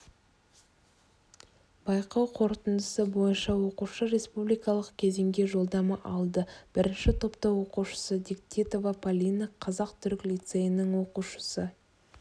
байқау қорытындысы бойынша оқушы республикалық кезеңге жолдама алды бірінші топта оқушысы дегтева полина қазақ-түрік лицейінің оқушысы